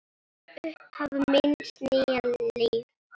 Upphaf míns nýja lífs.